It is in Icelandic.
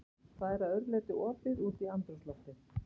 Það er að öðru leyti opið út í andrúmsloftið.